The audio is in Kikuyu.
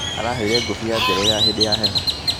Araheire ngũbia njerũ ya hĩndĩ ya heho